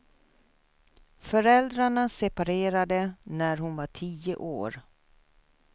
Föräldrarna separerade när hon var tio år.